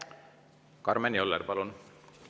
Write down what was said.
Karmen Joller, palun!